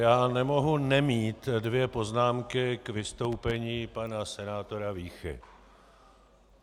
Já nemohu nemít dvě poznámky k vystoupení pana senátora Víchy.